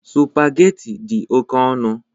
Sụpagheti dị oke ọnụ.